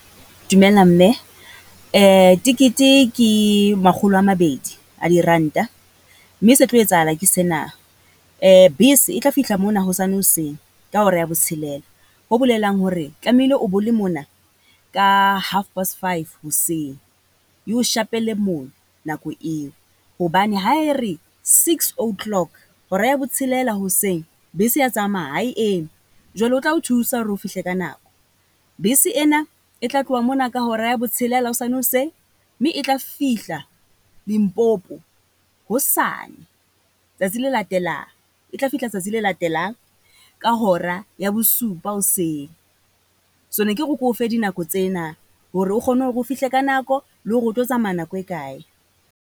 Dumela mme tekete ke makgolo a mabedi a diranta mme se tlo etsahala ke sena, bese e tla fihla mona hosane hoseng ka hora ya botshelela, ho bolelang hore tlamehile o bole mona ka half past five hoseng. Eo shapele mono nako eo. Hobane ha e re six o'clock hora ya botshelela hoseng, bese ya tsamaya ha e eme. Jwale ho tla o thusa hore o fihle ka nako. Bese ena e tla tloha mona ka hora ya botshelela hosane hoseng mme e tla fihla Limpopo hosane, tsatsi le latelang. E tla fihla tsatsi le latelang ka hora ya bosupa hoseng. So ne ke re ke o fe dinako tsena hore o kgone hore o fihle ka nako, le hore o tlo tsamaya nako e kae.